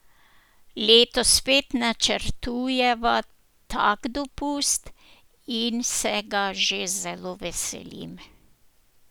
Letos spet načrtujeva tak dopust in se ga že zelo veselim.